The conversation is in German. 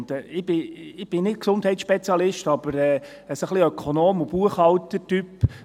Ich bin nicht Gesundheitsspezialist, aber ein wenig Ökonom und Buchhalter-Typ.